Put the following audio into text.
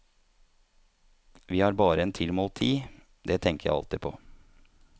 Vi har bare en tilmålt tid, det tenker jeg alltid på.